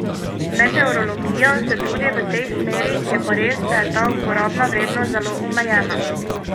Meteorologija se trudi v tej smeri, je pa res, da je ta uporabna vrednost zelo omejena.